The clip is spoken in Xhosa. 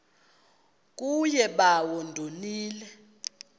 kuye bawo ndonile